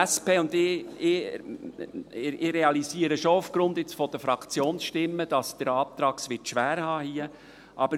Ich realisiere aufgrund der Fraktionsstimmen schon, dass der Antrag es hier schwer haben wird.